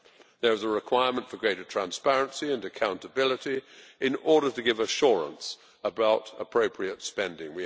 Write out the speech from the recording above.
There is a requirement for greater transparency and accountability in order to give assurance about appropriate spending.